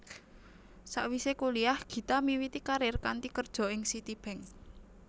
Sawisé kuliyah Gita miwiti karir kanthi kerja ing Citibank